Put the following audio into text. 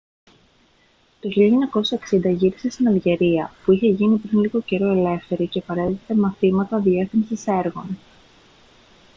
το 1960 γύρισε στην αλγερία που είχε γίνει πριν λίγο καιρό ελεύθερη και παρέδιδε μαθήματα διεύθυνσης έργων